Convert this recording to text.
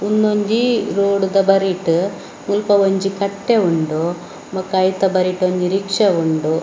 ಉನ್ನೊಂಜಿ ರೋಡ್‌ತ ಬರಿಟ್‌ ಮುಲ್ಪ ಒಂಜಿ ಕಟ್ಟೆ ಉಂಡು ಬೊಕ್ಕ ಐತ ಬರಿಟ್‌ ಒಂಜಿ ರಿಕ್ಷಾ ಉಂಡು.